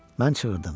Mən çığırdım.